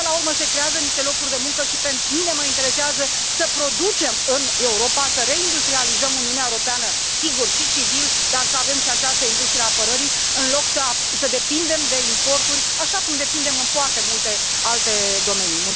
Până la urmă, se creează niște locuri de muncă și pe mine mă interesează să producem în Europa, să reindustrializăm Uniunea Europeană sigur, și civil dar să avem și această industrie a apărării, în loc să depindem de importuri, așa cum depindem în foarte multe alte domenii.